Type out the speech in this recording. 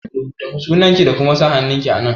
Rubuta sunanki da kuma sa hannunki a nan!